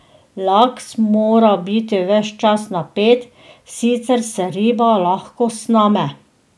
Laks mora biti ves čas napet, sicer se riba lahko sname.